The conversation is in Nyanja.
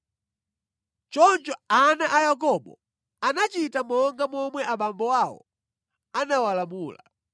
Choncho ana a Yakobo anachita monga momwe abambo awo anawalamula: